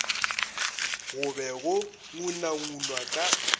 go be go ngunangunwa ka